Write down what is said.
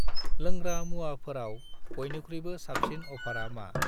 लोंग्रा मुवाफोराव बयनिख्रुइबो साबसिन अफारा मा?